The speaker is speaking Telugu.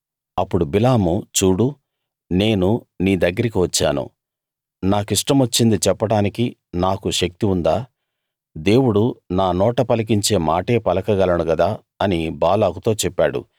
అప్పుడు బిలాము చూడు నేను నీ దగ్గరికి వచ్చాను నాకిష్టమొచ్చింది చెప్పడానికి నాకు శక్తి ఉందా దేవుడు నా నోట పలికించే మాటే పలకగలను గదా అని బాలాకుతో చెప్పాడు